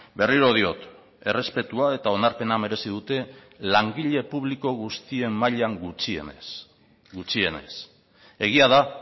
berriro diot errespetua eta onarpena merezi dute langile publiko guztien mailan gutxienez gutxienez egia da